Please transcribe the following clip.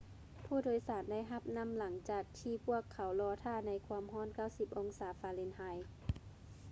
ຜູ້ໂດຍສານໄດ້ຮັບນໍ້າຫຼັງຈາກທີ່ພວກເຂົາລໍຖ້າໃນຄວາມຮ້ອນ 90 ອົງສາຟາເລັນຮາຍ